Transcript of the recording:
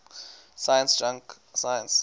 science junk science